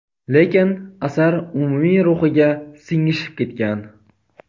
lekin asar umumiy ruhiga singishib ketgan.